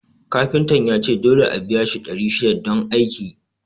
Kafintan yace dole a biya shi ɗari shida don aikin